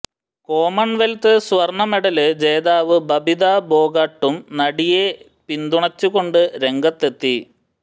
Commonwealth സ്വര്ണ medal ജേതാവ് ബബിത ഭോഗട്ടും നടിയേ പിന്തുണച്ചുകൊണ്ട് രംഗത്തെത്തി